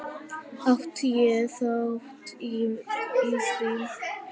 Átti ég þátt í því?